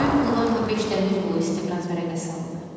Həmin pullarla beş dəmir yolu istiqraz vərəqəsi aldı.